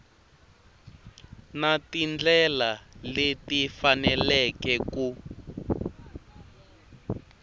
na tindlela leti faneleke ku